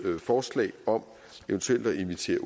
forslag om eventuelt at invitere